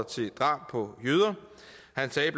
til drab på jøder